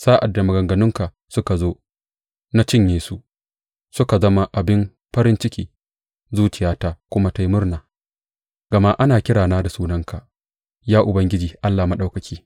Sa’ad da maganganunka suka zo, na cinye su; suka zama abin farin ciki zuciyata kuma ta yi murna, gama ana kirana da sunanka, Ya Ubangiji Allah Maɗaukaki.